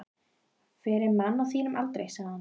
Fyrir mann á þínum aldri, sagði hann.